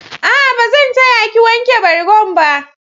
A'a, ba zan ta ya ki wanke bargon ba.